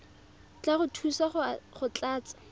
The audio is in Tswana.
tla go thusa go tlatsa